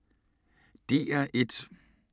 DR1